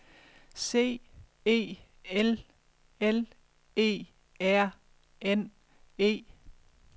C E L L E R N E